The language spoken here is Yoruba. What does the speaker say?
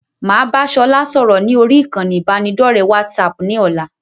Máa bá sọlá sọ̀rọ̀ ni orí ìkànnì ibanidọ̀rẹ́ WhatsApp ni ọ̀la.